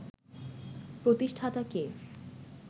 প্রতিষ্ঠাতা কে